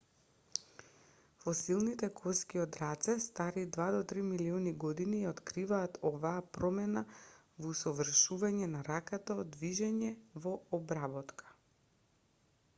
фосилните коски од раце стари два до три милиони години ја откриваат оваа промена во усовршување на раката од движење во обработка